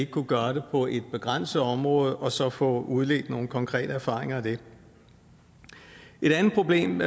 kunne gøre det på et begrænset område og så få udledt nogle konkrete erfaringer af det et andet problem